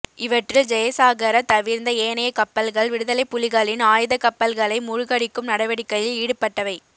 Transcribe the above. இவற்றில் ஜெயசாகர தவிர்ந்த ஏனைய கப்பல்கள் விடுதலைப் புலிகளின் ஆயுதக்கப்பல்களை மூழ்கடிக்கும் நடவடிக்கையில் ஈடுபட்டவை